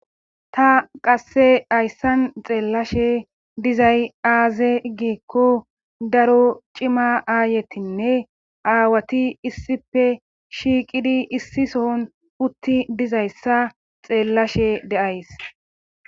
Ta qasse ayssan xeellashe dizay aaze giikko daro cima aayetinne aawati issife shiiqidi issi sohon utti dizayssa xeellashe deays